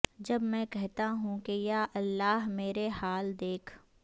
جب میں کہتا ہوں کہ یا اللہ میرا حال دیکھ